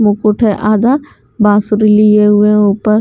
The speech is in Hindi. मुकुट है आधा बांसुरी लिए हुए हैं ऊपर --